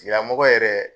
Tigilamɔgɔ yɛrɛ